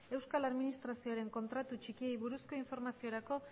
euskal administrazioaren kontratu txikiei buruzko informaziorako